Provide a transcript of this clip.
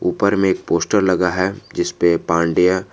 ऊपर में एक पोस्टर लगा है जिसपे पाण्डया।